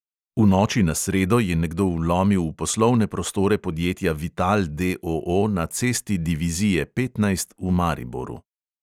V noči na sredo je nekdo vlomil v poslovne prostore podjetja vital, D O O, na cesti divizije petnajst v mariboru.